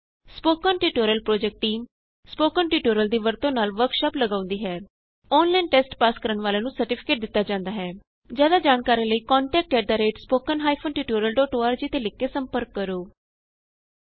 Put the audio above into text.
spoken tutorial project team spoken tutorial ਦੀ ਵਰਤੋਂ ਨਾਲ ਵਰਕਸ਼ਾਪ ਲਗਾਉਂਦੀ ਹੈ ਔਨਲਾਈਨ ਟੈਸਟ ਪਾਸ ਕਰਨ ਵਾਲਿਆਂ ਨੂੰ ਸਰਟੀਫਿਕੇਟ ਦਿਤਾ ਜਾਂਦਾ ਹੈ ਜਿਆਦਾ ਜਾਣਕਾਰੀ ਲਈ contact at spoken hyphen tutorial dot org ਤੇ ਲਿਖ ਕੇ ਸੰਪਰਕ ਕਰੋ